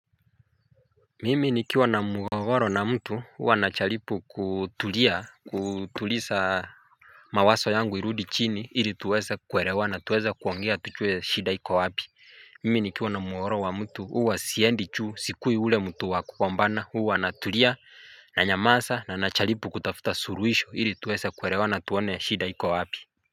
Mimi nikiwa na mugogoro na mtu uwa nachalipu kutulia kutulisa. Mawaso yangu irudi chini ili tuweza kuerewana tuweze kuongea tuchue shida iko wapi. Mimi nikiwa na mugogoro wa mtu uwa siendi chuu sikui ule mtu wa kukombana uwa natulia nanyamasa na nachalipu kutafuta surwisho ili tuweze kuerewana tuone shida iko wapi.